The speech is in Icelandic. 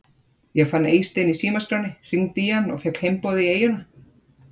Ég fann Eystein í símaskránni, hringdi í hann og fékk heimboð í eyjuna.